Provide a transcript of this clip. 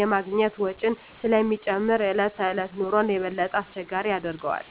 የማግኘት ወጪን ስለሚጨምር የዕለት ተዕለት ኑሮን የበለጠ አስቸጋሪ ያደርገዋል።